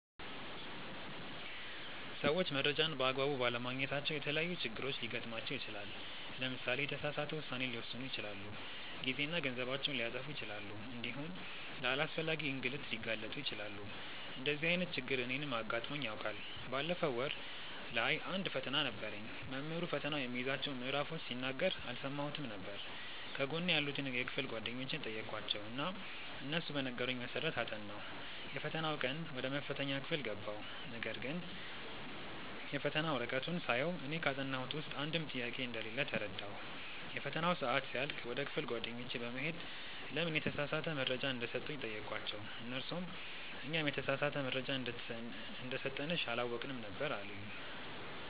ሰዎች መረጃን በ አግባቡ ባለማግኘታቸው የተለያዪ ችግሮች ሊገጥማቸው ይችላል። ለምሳሌ የተሳሳተ ውሳኔ ሊወስኑ ይችላሉ፣ ጊዜና ገንዘባቸውን ሊያጠፉ ይችላሉ እንዲሁም ለአላስፈላጊ እንግልት ሊጋለጡ ይችላሉ። እንደዚህ አይነት ችግር እኔንም አጋጥሞኝ ያውቃል። ባለፈው ወር ላይ አንድ ፈተና ነበረኝ። መምህሩ ፈተናው የሚይዛቸውን ምዕራፎች ሲናገር አልሰማሁትም ነበር። ከጎኔ ያሉትን የክፍል ጓደኞቼን ጠየኳቸው እና እነሱ በነገሩኝ መሰረት አጠናሁ። የፈተናው ቀን ወደ መፈተኛ ክፍል ገባሁ ነገርግን የፈተና ወረቀቱን ሳየው እኔ ካጠናሁት ውስጥ አንድም ጥያቄ እንደሌለ ተረዳሁ። የፈተናው ሰአት ሲያልቅ ወደ ክፍል ጓደኞቼ በመሄድ ለምን የተሳሳተ መረጃ እንደሰጡኝ ጠየኳቸው እነርሱም "እኛም የተሳሳተ መረጃ እንደሰጠንሽ አላወቅንም ነበር አሉኝ"።